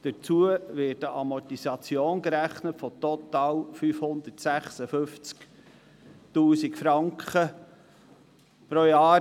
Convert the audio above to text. Dazu wird eine Amortisation gerechnet von total 556 000 Franken pro Jahr.